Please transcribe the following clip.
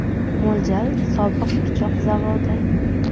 Mo‘ljal sobiq pichoq zavodi.